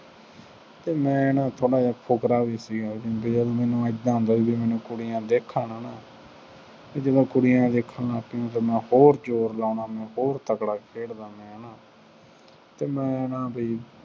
ਅਤੇ ਮੈਂ ਨਾ ਥੋੜ੍ਹਾ ਜਿਹਾ ਫੁਕਰਾ ਵੀ ਸੀ। ਬਈ ਉਦੋ ਮੈਨੂੰ ਏਦਾਂ ਹੁੰਦਾ ਸੀ ਜਿਵੇਂ ਮੈਨੂੰ ਕੁੁੜੀਆਂ ਦੇਖਣ, ਹੈ ਨਾ, ਜਦੋਂ ਕੁੜੀਆਂ ਦੇਖਣ ਲੱਗ ਪਈਆਂ ਤਾ ਮੈਂ ਹੋਰ ਜ਼ੋਰ ਲਾਉਣਾ, ਮੈਂ ਹੋਰ ਤਕੜਾ ਖੇਡਦਾ ਮੈਂ ਨਾ, ਅਤੇ ਮੈਂ ਨਾ ਬਈ